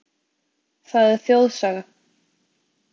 Það er þjóðsaga.